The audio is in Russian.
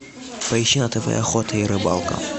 поищи на тв охота и рыбалка